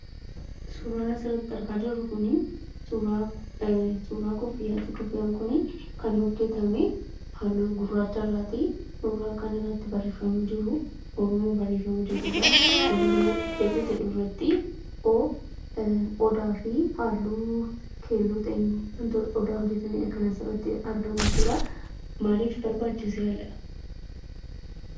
Suuraan asirratti argaa jirru kun, suuraa kuuffiyyati. kuuffiyyaan kun akn hojjetame halluu guraacha irrati. suuraa kanarratti barreeffamni jiru oromoo barreeffama jedhudha. oromoo jecha jedhu irratti odaa fi halluu keelloo ta'een odaa hojjetamedha kan asirratti argamu.